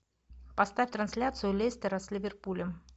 поставь трансляцию лестера с ливерпулем